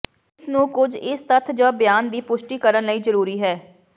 ਇਸ ਨੂੰ ਕੁਝ ਇਸ ਤੱਥ ਜ ਬਿਆਨ ਦੀ ਪੁਸ਼ਟੀ ਕਰਨ ਲਈ ਜ਼ਰੂਰੀ ਹੈ